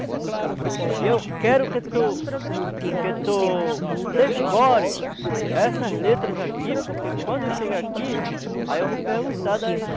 E eu quero que tu que tu que tu decore essas letras aqui, porque quando eu chegar aqui, aí eu vou perguntar das